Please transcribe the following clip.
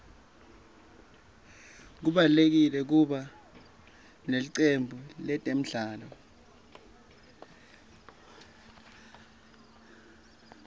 kubalulekile kuba nelicembu letemidlalo